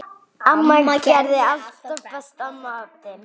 Amma gerði alltaf besta matinn.